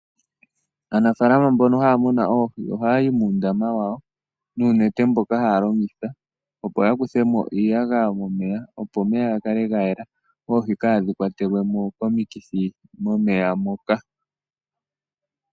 Aanafalama mbono haya munu oohi ohaya yi muundama wawo noonete ndhoka haya longitha, opo ya kuthemo iiyagaya momeya, opo omeya ga kale ga yela oohi kaadhi kwatelwe mo komithi momeya moka.